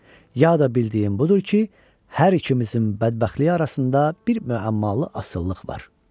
ya da bildiyim budur ki, hər ikimizin bədbəxtliyi arasında bir müəmmalı asılılıq var.